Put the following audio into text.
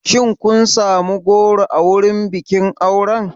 Shin kun sami goro a wurin bikin auren?